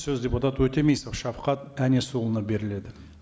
сөз депутат өтемісов шавқат әнесұлына беріледі